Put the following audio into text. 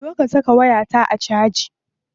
Zo ka saka wayata a caji.